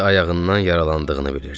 ayağından yaralandığını bilirdi.